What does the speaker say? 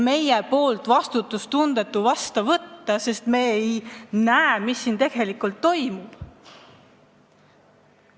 Meist on vastutustundetu see vastu võtta, sest me ei näe, mis selle kohaselt tegelikult toimub.